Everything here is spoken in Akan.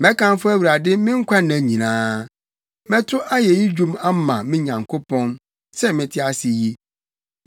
Mɛkamfo Awurade me nkwanna nyinaa; mɛto ayeyi dwom ama me Nyankopɔn, sɛ mete ase yi.